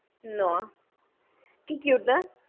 Noah, কি cute না